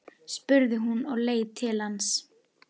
spurði hún og leit til hans.